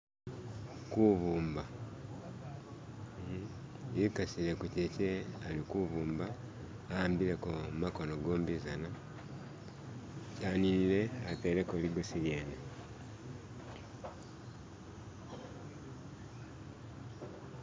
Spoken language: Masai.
Kubumba ekasile kuchakye alikubumba ahambileko makono gombizana yaninile ateleko ligosi lyene